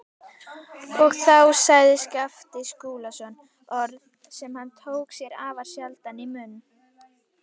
Og þá sagði Skapti Skúlason orð sem hann tók sér afar sjaldan í munn.